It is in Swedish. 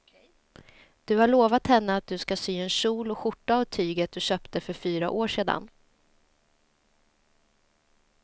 Du har lovat henne att du ska sy en kjol och skjorta av tyget du köpte för fyra år sedan.